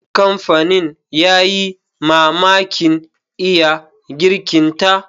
Kamfanin ya yi mamakin iya girkinta.